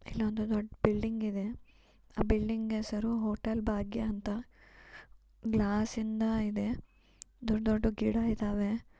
ಇಲ್ಲೊಂದು ದೊಡ್ಡ ಬಿಲ್ಡಿಂಗ್‌ ಇದೆ. ಆ ಬಿಲ್ಡಿಂಗ್‌ ಹೆಸರು ಹೋಟೆಲ್‌ ಭಾಗ್ಯ ಅಂತಾ. ಗ್ಲಾಸಿಂದ ಇದೆ. ದೊಡ್ಡ ದೊಡ್ಡು ಗಿಡ ಇದಾವೆ.